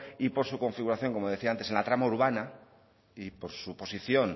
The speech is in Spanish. y por su configuración en la trama urbana y por su posición